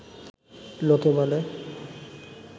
লোকে বলে